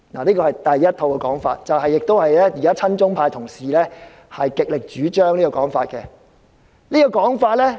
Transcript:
這是第一套說法，也是親中派同事極力主張的說法。